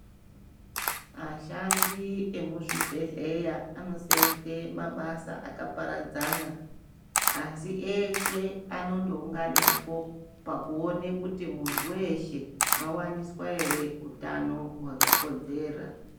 Ashandi emuzvibhedhleya anosenze mabasa akaparadzana asi eeshe anoondounganepo pakuona kuti munthu weeshe wawaniswa ere utano hwakakodzera.